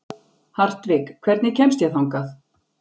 Hartvig, hvernig kemst ég þangað?